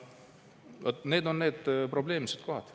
Vaat need on need probleemsed kohad.